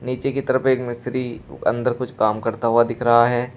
नीचे की तरफ एक मिस्त्री अंदर कुछ काम करता हुआ दिख रहा है।